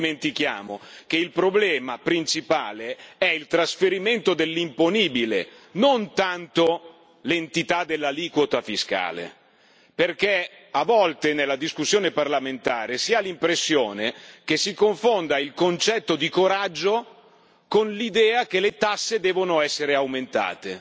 Non dimentichiamo che il problema principale è il trasferimento dell'imponibile, non tanto l'entità dell'aliquota fiscale, perché a volte, nella discussione parlamentare, si ha l'impressione che si confonda il concetto di coraggio con l'idea che le tasse devono essere aumentate.